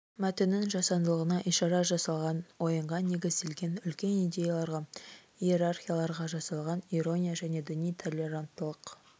мәтіннің жасандылығына ишара жасалған ойынға негізделген үлкен идеяларға иерархияларға жасалған ирония және діни толеранттылық